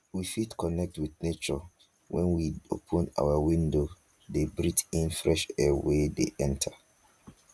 we fit connect with nature when we open our windows de breath in fresh air wey de enter